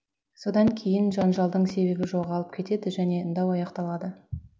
содан кейін жанжалдың себебі жоғалып кетеді және дау аяқталады